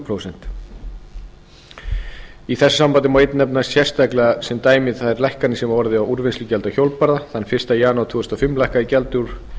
prósent í þessu sambandi má nefna sérstaklega sem dæmi lækkanir sem hafa orðið á úrvinnslugjaldi á hjólbarða þann fyrsta janúar tvö þúsund og fimm lækkaði gjaldið úr